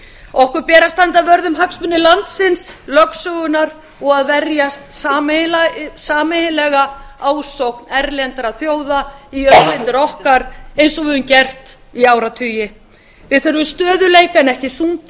okkur ber að standa vörð um hagsmuni landsins lögsögunnar og að verjast sameiginlega ásókn erlendra þjóða í auðlindir okkar eins og við höfum gert í áratugi við þurfum stöðugleika en ekki